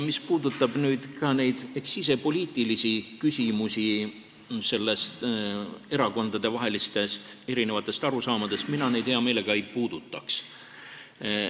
Mis puudutab neid sisepoliitilisi küsimusi, erakondade erinevaid arusaamu, siis mina neid hea meelega ei puudutaks.